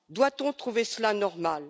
Doit on trouver cela normal?